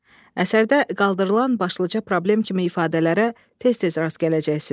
Əsərdə qaldırılan başlıca problem kimi ifadələrə tez-tez rast gələcəksiniz.